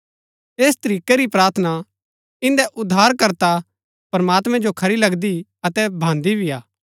ऐस तरीकै री प्रार्थना इन्दै उद्धारकर्ता प्रमात्मैं जो खरी लगदी अतै भान्‍दी भी हा